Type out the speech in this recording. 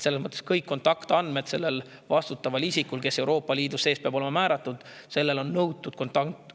Selles mõttes on nõutud, et kõik selle vastutava isiku kontaktandmed, kes Euroopa Liidus peab olema määratud, on sellel lehel esitatud.